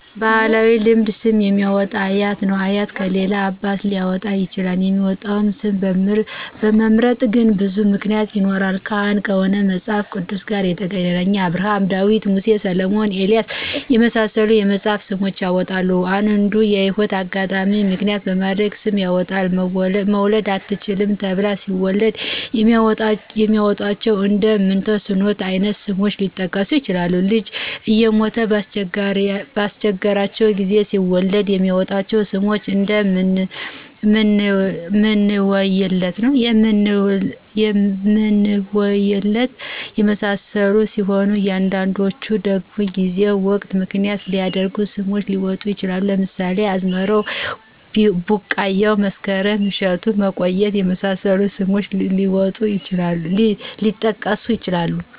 በባህላዊ ልማድ ስም የሚያወጣው አያት ነው አያት ከሌለ አባት ሊያወጣ ይችላል የሚመጣውን ስም ለመምረጥ ግን ብዙ ምክንያቶች ይኖራሉ ካህን ከሆነ ከመጽሐፍ ቅዱስ ጋር የተገናኘ አብርሀም :ዳዊት :ሙሴ: ሰለሞንና ኤልያስ የመሳሰሉትን የመጽሐፍ ስሞችን ያወጣል። አንዱንዲ የህይወት አጋጣሚን ምክንያት በማድረግ ስም ያወጣል መውለድ አትችሉም ተብለው ሲወልዱ የሚያወጧቸው እንደ ምንተስኖት አይነት ስሞች ሊጠቀሱ ይችላሉ። ልጅ እየሞተ ባስቸገራቸው ጊዜ ሲወልዱ የሚያወጧቸው ስሞች እደ ምንውየለት የመሳሰሉት ሲሆኑ አንዳንዶቹ ደግሞ ጊዜና ወቅትን ምክንያት ያደረጉ ስሞች ሊወጡ ይችላሉ ለምሳሌ አዝመራው :ቢቃያው :መስከረም :እሸቱና መቆየት የመሳሰሉት ስሞች ሊጠቀሱ ይችላሉ።